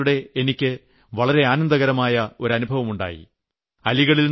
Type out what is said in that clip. എന്നാൽ ഈ ആടുത്തിടെ എനിക്ക് വളരെ ആനന്ദകരമായ ഒരു അനുഭവമുണ്ടായി